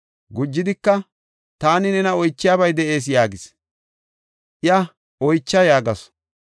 Gujidika, “Taani nena oychiyabay de7ees” yaagis. Iya, “Oycha” yaagasu.